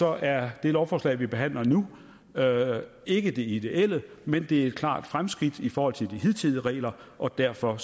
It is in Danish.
er det lovforslag vi behandler nu ikke det ideelle men det er et klart fremskridt i forhold til de hidtidige regler og derfor